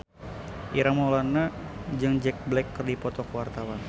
Ireng Maulana jeung Jack Black keur dipoto ku wartawan